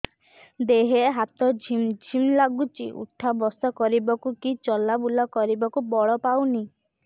ଦେହେ ହାତ ଝିମ୍ ଝିମ୍ ଲାଗୁଚି ଉଠା ବସା କରିବାକୁ କି ଚଲା ବୁଲା କରିବାକୁ ବଳ ପାଉନି